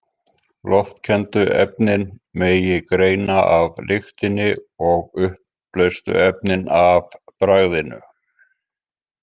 Loftkenndu efnin megi greina af lyktinni og uppleystu efnin af bragðinu.